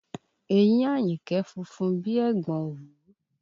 Eyín Àyìnkẹ́ funfun bí i ẹ̀gbọ̀n òwú